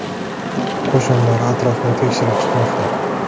Qo‘shinlar atrofni tekshirib chiqmoqda.